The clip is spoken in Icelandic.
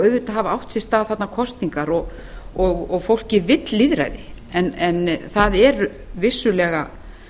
auðvitað hafa átt sér stað þarna kosningar og fólkið vill lýðræði en það eru vissulega